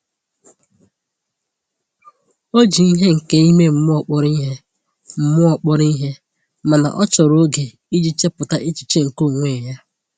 O ji ihe nke ime mmụọ kpọrọ ihe, mmụọ kpọrọ ihe, mana ọ chọrọ oge iji chepụta echiche nke onwe ya.